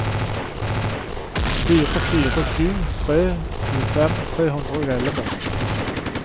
fire fire sju tre tjuefem tre hundre og elleve